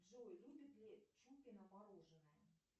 джой любит ли чупина мороженное